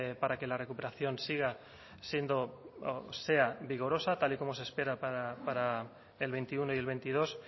para que la recuperación siga siendo sea vigorosa tal y como se espera para el veintiuno y el veintidós